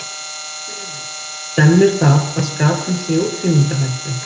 Því spyrjum við, stemmir það að skatan sé í útrýmingarhættu?